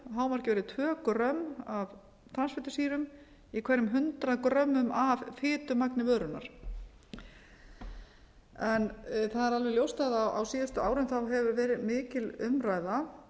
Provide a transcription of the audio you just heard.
hámarkið verði tvö grömm af transfitusýrum í hverjum hundrað grömmum af fitumagni vörunnar það er alveg ljóst að á síðustu árum hefur verið mikil umræða